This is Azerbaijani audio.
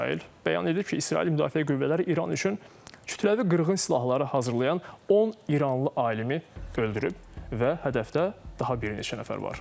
İsrail bəyan edib ki, İsrail Müdafiə qüvvələri İran üçün kütləvi qırğın silahları hazırlayan 10 İranlı alimi öldürüb və hədəfdə daha bir neçə nəfər var.